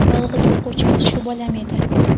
Yolg‘iz boquvchimiz shu bolam edi.